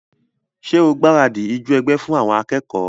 Ṣé o gbaradì ijó ẹgbẹ́ fún àwọn akẹ́kọ̀ọ́?